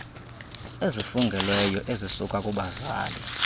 ezifungelweyo ezisuka kubazali